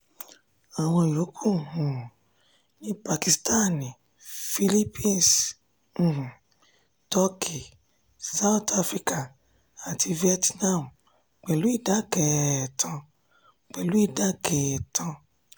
àwọn yòókù um ní pakistan philippines um turkey south africa àti vietnam pẹ̀lú idà kẹẹ́ẹ́tàn. pẹ̀lú idà kẹẹ́ẹ́tàn.